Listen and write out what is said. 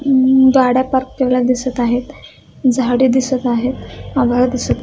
हम गाड्या पार्क केलेल्या दिसत आहेत झाडे दिसत आहेत आभाळ दिसत--